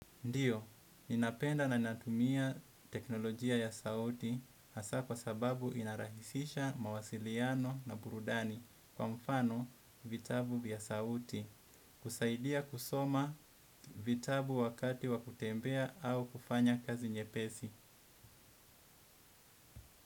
Ndiyo, ninapenda na natumia teknolojia ya sauti hasa kwa sababu inarahisisha mawasiliano na burudani kwa mfano vitabu vya sauti. Husaidia kusoma vitabu wakati wa kutembea au kufanya kazi nyepesi.